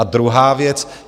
A druhá věc.